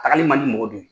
A kali man di mɔgɔ dɔ ye